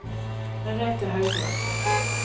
Merete Haugland